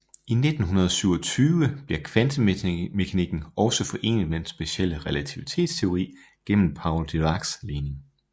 I 1927 bliver kvantemekanikken også forenet med den specielle relativitetsteori gennem Paul Diracs ligning